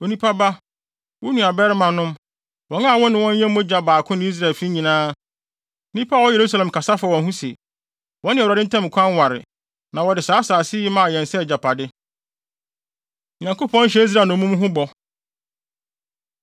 “Onipa ba, wo nuabarimanom, wɔn a wo ne wɔn yɛ mogya baako ne Israelfi nyinaa, nnipa a wɔwɔ Yerusalem kasa fa wɔn ho se, ‘Wɔne Awurade ntam kwan ware, na wɔde saa asase yi maa yɛn sɛ yɛn agyapade.’ ” Nyankopɔn Hyɛ Israel Nnommum No Bɔ